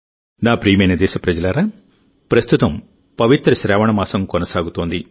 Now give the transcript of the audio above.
నా ప్రియమైన దేశప్రజలారాప్రస్తుతం పవిత్ర శ్రావణ మాసం కొనసాగుతోంది